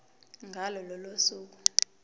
ngalo lolo suku